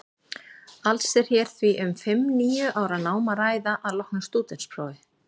Alls er hér því um fimm til níu ára nám að ræða að loknu stúdentsprófi.